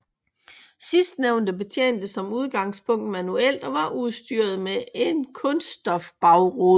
Sidstnævnte betjentes som udgangspunkt manuelt og var udstyret med en kunststofbagrude